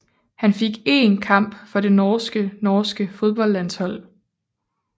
Han fik én kamp for det norske norske fodboldlandshold